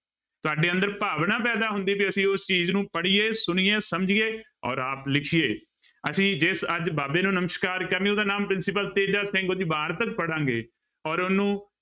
ਤੁਹਾਡੇ ਅੰਦਰ ਭਾਵਨਾ ਪੈਦਾ ਹੁੰਦੀ ਹੈ, ਵੀ ਅਸੀਂ ਉਸ ਚੀਜ਼ ਨੂੰ ਪੜ੍ਹੀਏ, ਸੁਣੀਏ, ਸਮਝੀਏੇ ਔਰ ਆਪ ਲਿਖੀਏ, ਅਸੀਂ ਜਿਸ ਅੱਜ ਬਾਬੇ ਨੂੰ ਨਮਸ਼ਕਾਰ ਕਰਨੀ ਉਹਦਾ ਨਾਮ ਪ੍ਰਿੰਸੀਪਲ ਤੇਜਾ ਸਿੰਘ, ਉਹਦੀ ਵਾਰਤਕ ਪੜ੍ਹਾਂਗੇ ਔਰ ਉਹਨੂੰ